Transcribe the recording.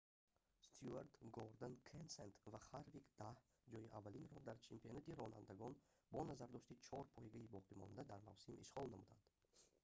стюарт гордон кенсет ва ҳарвик даҳ ҷойи аввалинро дар чемпионати ронандагон бо назардошти чор пойгаи боқимонда дар мавсим ишғол намуданд